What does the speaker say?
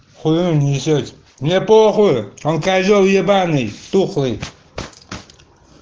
хуя он несёт мне похуй он козел ебаный тухлый